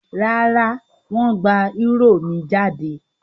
Rárá, wọ́n gba eúrò mi jáde?